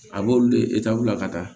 A b'olu de ka taa